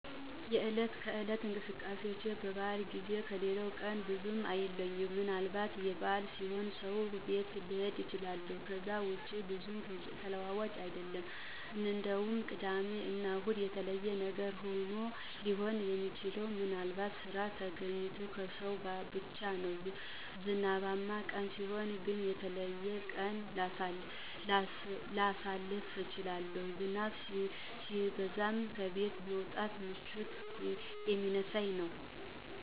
የእለት ከእለት እንቅስቃሴዎቼን በባአል ጊዜ ወይም ከሌላው ቀን ብዙ አይለይም። ምንአልባት በአል ሲሆን ሠው ቤት ልሀረድ እችላለሁ። ከዛ ውጭ ብዙ ተለዋዋጭ አይደለም። እንደውም ቅዳሜ እና እሁድ የተለየ ነገር ሊሆን ሚችለው ምንአልባት ስራ ተገኝቶ ከሰራሁ ብቻ ነው። ዝናባማ ቀን ሲሆን ግን ለየት ያለ ቀን ላሳልፍ እችላለሁ። ዝናብ ሲዘንብ ከቤት መውጣት ምቾት ስለሚነሳኝ ነው።